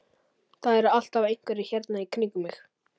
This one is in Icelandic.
Það eru alltaf einhverjir hérna í kringum mig.